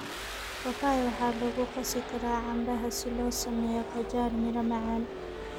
Papaya waxaa lagu qasi karaa canbaha si loo sameeyo qajaar miro macaan.